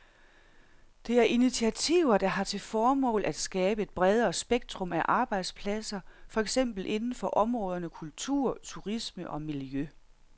Det er initiativer der har til formål at skabe et bredere spektrum af arbejdspladser, for eksempel inden for områderne kultur, turisme og miljø.